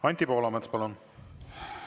Anti Poolamets, palun!